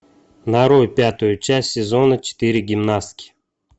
нарой пятую часть сезона четыре гимнастки